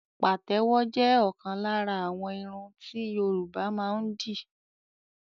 Pàtẹ́wọ̀ jẹ́ ọ̀kan lára àwọn irun ti Yorùbá máa ń dì